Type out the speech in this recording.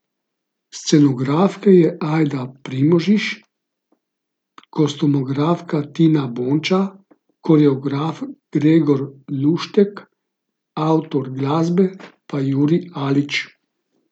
Scenografka je Ajda Primožič, kostumografka Tina Bonča, koreograf Gregor Luštek, avtor glasbe pa Jurij Alič.